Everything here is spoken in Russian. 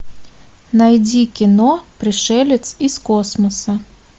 найди кино пришелец из космоса